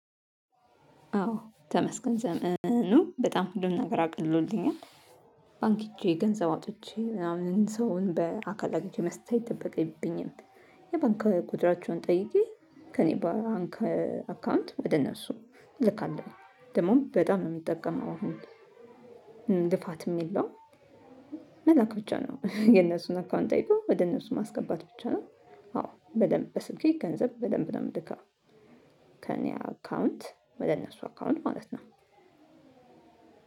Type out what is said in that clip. አዎ ተመስገን ዘመኑ በጣም ሁሉን ነገር አቅልሎናል ባንክ ሄጄ ገንዘብ አውጥቼ ምናምን ሰውን በአካል አግኝቼ መስጠት አይጠበቅብኝም። የባንክ ቁጥራቸውን ጠይቼ ከእኔ ባንክ አካውንት ወደ እነሱ እልካለሁ። ደግሞ በጣም ነው የሚጠቀመው አሁን ጥፋት የለውም። መላክ ብቻ ነው የእነሱን አካውንት አይቶ ወደ እነሱ ማስገባት ብቻ ነው። አዎ በደንብ በስልኬ ገንዘብ በደንብ የምልካው። ከእኔ አካውንት ወደ እነሱ አካውንት ማለት ነው።